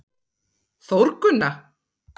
Þórgunna